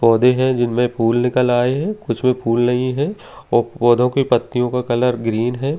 पौधे हैं जिनमें फूल निकल आए हैं कुछ में फूल नहीं है और पौधों की पत्तियों का कलर ग्रीन है।